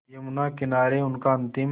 यमुना किनारे उनका अंतिम